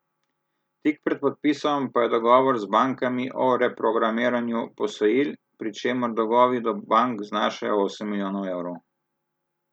Tik pred podpisom pa je dogovor z bankami o reprogramiranju posojil, pri čemer dolgovi do bank znašajo osem milijonov evrov.